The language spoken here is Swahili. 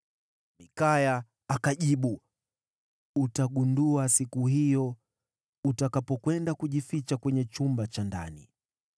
Mikaya akajibu, “Utagundua siku hiyo utakapokwenda kujificha kwenye chumba cha ndani.”